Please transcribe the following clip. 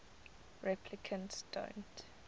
replicants don't